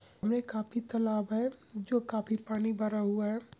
में काफ़ी तालाब है जो काफ़ी पानी भरा हुआ है।